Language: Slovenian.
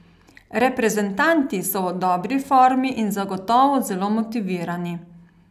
Reprezentanti so v dobri formi in zagotovo zelo motivirani.